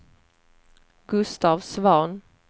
Gustaf Svahn